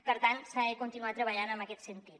per tant s’ha de continuar treballant en aquest sentit